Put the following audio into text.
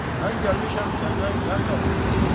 Mən gəlmişəm səndən qənd alım.